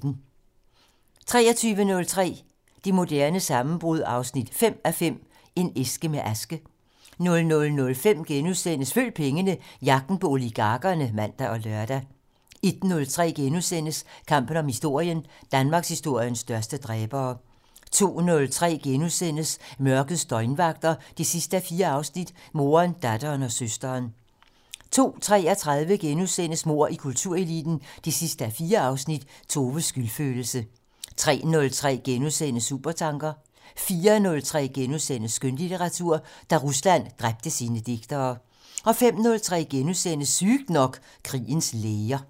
23:03: Det moderne sammenbrud 5:5 - En æske med aske 00:05: Følg pengene: Jagten på oligarkerne *(man og lør) 01:03: Kampen om historien: Danmarkshistoriens største dræbere * 02:03: Mørkets døgnvagter 4:4 - Moderen, datteren og søsteren * 02:33: Mord i kultureliten 4:4 - Toves skyldfølelse * 03:03: Supertanker * 04:03: Skønlitteratur: Da Rusland dræbte sine digtere * 05:03: Sygt nok: Krigens læger *